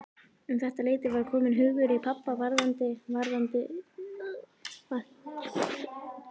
Um þetta leyti var kominn hugur í pabba varðandi fasteignakaup.